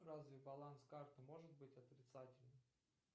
разве баланс карты может быть отрицательный